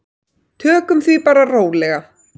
Tökum því bara rólega.